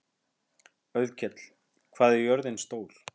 Auðkell, hvað er jörðin stór?